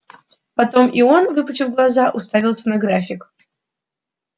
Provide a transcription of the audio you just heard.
потом и он выпучив глаза уставился на график